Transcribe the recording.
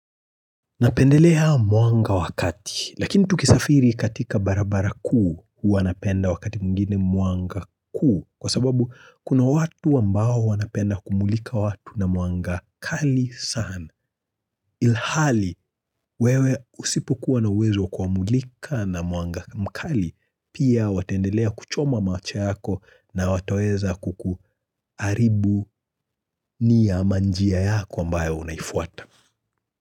Napendelea muanga wakati, lakini tukisafiri katika barabara ku, huwa napenda wakati mgini muanga ku, kwa sababu kuna watu ambao huwa napenda kumulika watu na muanga kali sana. Ilhali, wewe usipu kuwa na wezo kumulika na muanga mkali, pia watendelea kuchoma mawache yako na watueza kukuaribu ni ya manjia yako ambayo unaifuata.